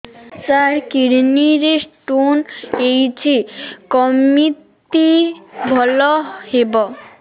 ସାର kidney ରେ stone ହେଇଛି କମିତି ଭଲ ହେବ